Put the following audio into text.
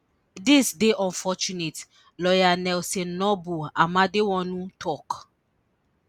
dis dey unfortunate lawyer Nelson Noble Amedewonu tok